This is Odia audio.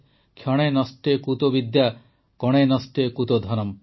କ୍ଷଣେ ନଷ୍ଟେ କୁତୋ ବିଦ୍ୟା କଣେ ନଷ୍ଟେ କୁତୋ ଧନମ୍